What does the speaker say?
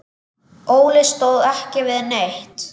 Óli stóð ekki við neitt.